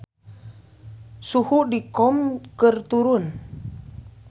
Suhu di Qom keur turun